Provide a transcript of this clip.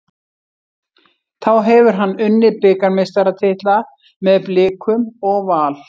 Þá hefur hann unnið bikarmeistaratitla með Blikum og Val.